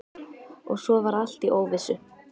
Og svo var allt í óvissu.